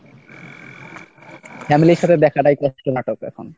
family এর সাথে দেখাটাই তো নাটক এখন।